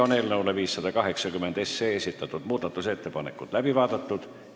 Eelnõu 580 kohta esitatud muudatusettepanekud on läbi vaadatud.